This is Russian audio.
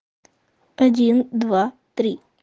один два три